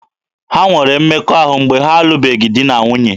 Ha nwere mmekọahụ mgbe ha alụbeghị di na nwunye.